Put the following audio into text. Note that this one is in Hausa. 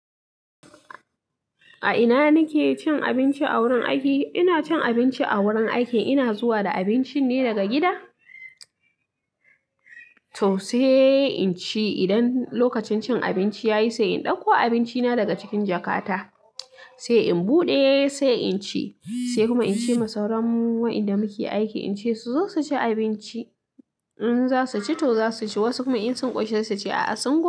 A ina kike cin abinci a wurin aiki? Ina cin abinci a wurin aiki, ina zuwa da abinci ne daga gida, to sai in ci idan lokacin cin abinci ya yi, sai in ɗauko abincina daga cikin jakata, sai in buɗe sai in ci, sai kuma in ce ma sauran waɗanda muke aiki in ce su zo su ci abinci. In za su ci to za su ci, wasu kuma in sun ƙwace da ce a'a sun ƙi.